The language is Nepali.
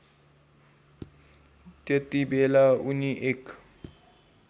त्यतिबेला उनी एक